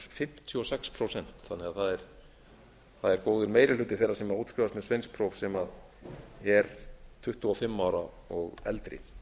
fimmtíu og sex prósent þannig að það er góður meiri hluti þeirra sem útskrifast með sveinspróf sem er tuttugu og fimm ára og eldri